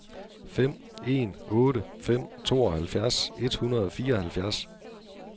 fem en otte fem tooghalvfjerds et hundrede og fireoghalvfjerds